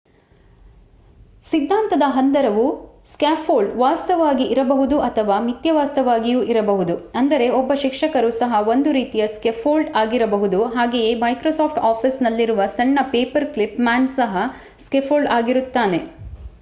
ಸಿದ್ಧಾಂತದ ಹಂದರವು ಸ್ಕಾಫೋಲ್ಡ್ ವಾಸ್ತವವಾಗಿ ಇರಬಹುದು ಅಥವಾ ಮಿಥ್ಯವಾಸ್ತವವಾಗಿಯೂ ಇರಬಹುದು ಅಂದರೆ ಒಬ್ಬ ಶಿಕ್ಷಕರು ಸಹ ಒಂದು ರೀತಿಯ ಸ್ಕಾಫೋಲ್ಡ್ ಆಗಿರಬಹುದು ಹಾಗೆಯೇ ಮೈಕ್ರೋಸಾಫ್ಟ್ ಆಫೀಸ್ ನಲ್ಲಿರುವ ಸಣ್ಣ ಪೇಪರ್ ಕ್ಲಿಪ್ ಮ್ಯಾನ್ ಸಹ ಸ್ಕಾಫೋಲ್ಡ್ ಆಗಿರುತ್ತಾನೆ